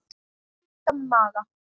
Stúlka með maga.